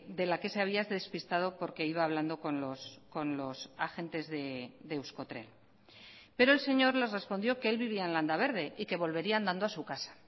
de la que se había despistado porque iba hablando con los agentes de euskotren pero el señor les respondió que él vivía en landaberde y que volvería andando a su casa